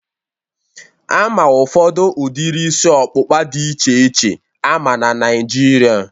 Ama ụfọdụ udiri isi ọkpụkpa a dị iche iche ama na Naịjirịa